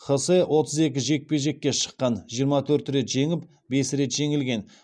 хосе отыз екі жекпе жекке шыққан жиырма төрт рет жеңіп бес рет жеңілген